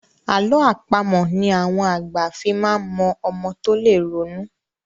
Àlọ́ àpamọ̀ ni àwọn àgbà fí máa mọ ọmọ tó lè ronú.